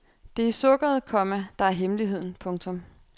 Det er sukkeret, komma der er hemmeligheden. punktum